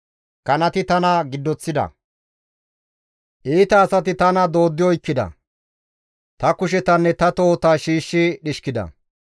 Kanati tana giddoththida; Iita asati tana dooddi oykkida; Ta kushetanne ta tohota shiishshi dhishkida.